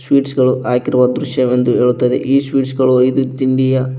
sweets ಗಳು ಹಾಕಿರುವ ದೃಶ್ಯವೆಂದು ಹೇಳುತ್ತದೆ ಈ ಸ್ವೀಟ್ಸ್ ಗಳು ಐದು ತಿಂಡಿಯ--